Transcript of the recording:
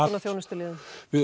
þjónustuliðum